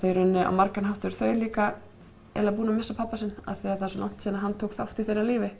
í rauninni á margan hátt þá eru þau líka búin að missa pabba sinn af því að það er svo langt síðan að hann tók þátt í þeirra lífi